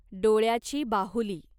डोळ्याची बाहुली